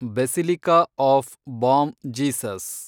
basilica of Bom Jesus